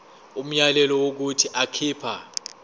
umyalelo wokuthi akhipha